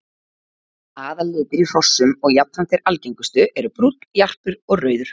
Aðallitir í hrossum og jafnframt þeir algengustu eru brúnn, jarpur og rauður.